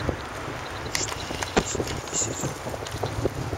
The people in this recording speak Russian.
штамм последний сезон